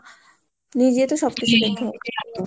নিজেদের সবকিছুই .